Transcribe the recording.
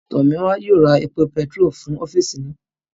Tọ̀míwá yóò ra epo bentiróòlù fún ọ́físì naa